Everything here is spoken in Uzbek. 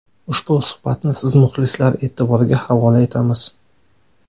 Ushbu suhbatni siz muxlislar e’tiboriga havola etamiz.